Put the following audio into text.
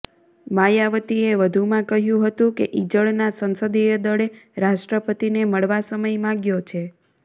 માયાવતીએ વધુમાં કહ્યું હતું કે ઇજઙના સંસદીય દળે રાષ્ટ્રપતિને મળવા સમય માગ્યો છે